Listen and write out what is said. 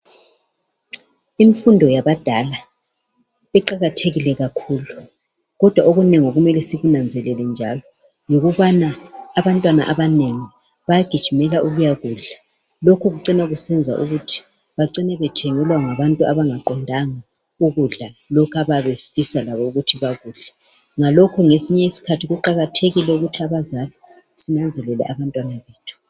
Imfundo yabadala iqakathekile kakhulu, kodwa okunengi kumele sikunanzelele njalo yikubana abantwana abanengi bayagijimela ukuyakudla. Lokhu kucina kusenza ukuthi bacine bethengelwa ngabantu abangaqondanga ukudla lokho abayabe befisa labo ukuthi bakudle. Ngalokho ngesinye isikhathi kuqakathekile ukuthi abazali sinanzelele abantwana bethu.